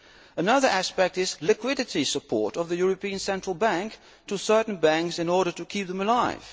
Another aspect is liquidity support of the European Central Bank to certain banks in order to keep them alive.